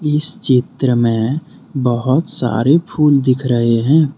इस चित्र में बहोत सारे फूल दिख रहे है।